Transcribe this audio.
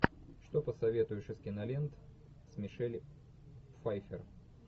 что посоветуешь из кинолент с мишель пфайффер